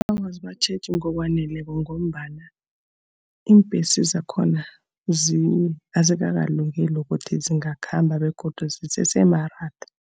Awa, azibatjheji ngokwaneleko ngombana iimbhesi zakhona azikakalungeli ukuthi zingakhamba, begodu zisese maratha.